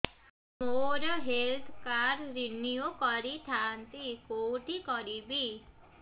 ମୋର health card renew କରିଥାନ୍ତି କୋଉଠି କରିବି